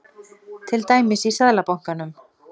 Til dæmis í Seðlabankanum.